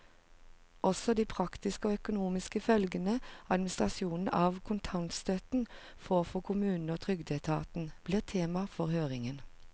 Også de praktiske og økonomiske følgene administrasjonen av kontantstøtten får for kommunene og trygdeetaten, blir tema for høringen.